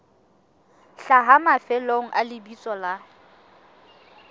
hlaha mafelong a lebitso la